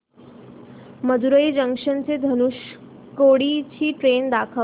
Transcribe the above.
Madurai junction ते धनुषकोडी ची train दाखव